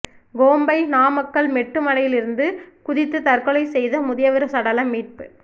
Kombai Ramakkalmedu மலையிலிருந்து குதித்து தற்கொலை செய்த முதியவா் சடலம் மீட்பு